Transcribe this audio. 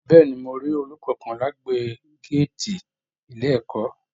Bẹ̀ẹ́ni, mo rí ọọlú kánkán l'agbègbè gàátí ilé ẹ̀kọ́.